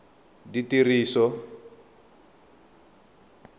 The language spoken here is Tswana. ditiriso